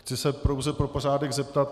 Chci se pouze pro pořádek zeptat.